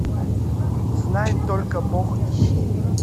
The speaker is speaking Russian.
знает только бог ищи